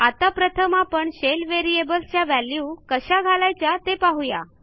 आता प्रथम आपण शेल व्हेरिएबल्स च्या व्हॅल्यू कशा घालायच्या ते पाहू या